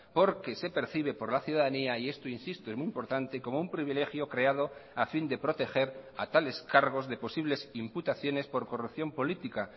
porque se percibe por la ciudadanía y esto insisto es muy importante como un privilegio creado a fin de proteger a tales cargos de posibles imputaciones por corrupción política